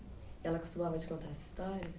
Ela costumava te contar essa história?